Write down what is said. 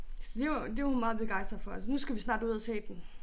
Så det var det var hun meget begejstret for så nu skal vi snart ud at se den